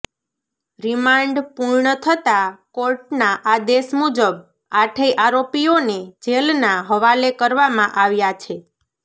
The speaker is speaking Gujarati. રિમાન્ડ પૂર્ણ થતાં કોર્ટના આદેશ મુજબ આઠેય આરોપીઓને જેલના હવાલે કરવામા આવ્યા છે